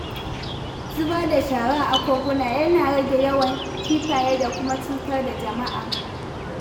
Zubar da shara a koguna yana rage yawan kifaye da kuma cutar da jama'a.